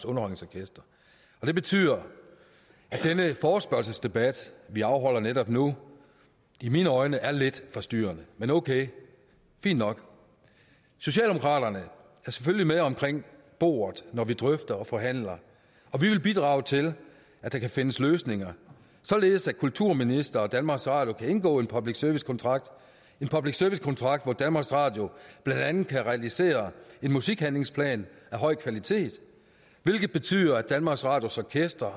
underholdningsorkester det betyder at denne forespørgselsdebat vi afholder netop nu i mine øjne er lidt for styrende men okay fint nok socialdemokraterne er selvfølgelig med omkring bordet når vi drøfter og forhandler og vi vil bidrage til at der kan findes løsninger således at kulturministeren og danmarks radio kan indgå en public service kontrakt en public service kontrakt hvor danmarks radio blandt andet kan realisere en musikhandlingsplan af høj kvalitet hvilket betyder at danmarks radios orkestre